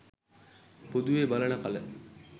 පොදුවේ බලන කල